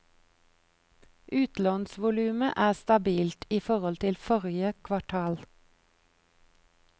Utlånsvolumet er stabilt i forhold til forrige kvartal.